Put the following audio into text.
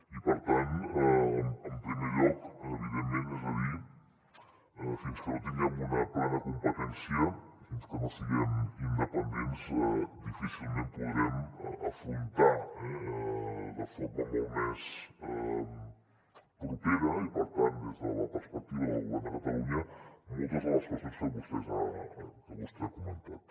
i per tant en primer lloc evidentment fins que no tinguem una plena competència fins que no siguem independents difícilment podrem afrontar de forma molt més propera i per tant des de la perspectiva del govern de catalunya moltes de les qüestions que vostè ha comentat